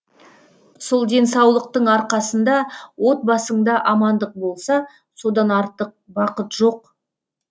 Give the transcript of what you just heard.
сол денсаулықтың арқасында отбасыңда амандық болса содан артық бақыт жоқ